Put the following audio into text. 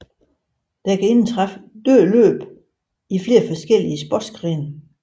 Der kan indtræffe dødt løb i flere forskellige sportsgrene